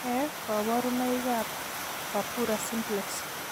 Nee kabarunoikab Purpura simplex?